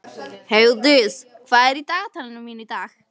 Heiðdís, hvað er í dagatalinu mínu í dag?